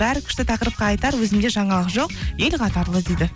бәрі күшті тақырыпқа айтар өзімде жаңалық жоқ ел қатарлы дейді